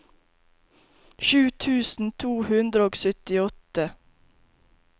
sju tusen to hundre og syttiåtte